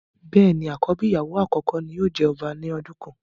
béèni àkọ́bí ìyàwó àkọ́kọ́ tí yóò jẹ ọba lọ́jọ́ kan.